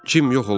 Cim yox olmuşdu.